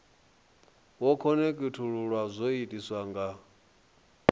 wo khonekhithululwa zwo itiswa nga